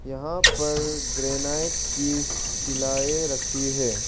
यहां पर ग्रेनाइट की सिलाए रखी है।